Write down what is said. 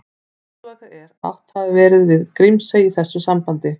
Útilokað er að átt hafi verið við Grímsey í þessu sambandi.